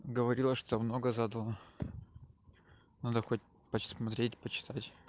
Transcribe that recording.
говорила что много задала надо хоть посмотреть почитать